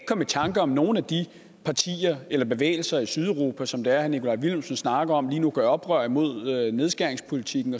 komme i tanker om nogle af de partier eller bevægelser i sydeuropa som herre nikolaj villumsen snakker om lige nu gør oprør imod nedskæringspolitikken